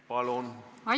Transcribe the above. Palun!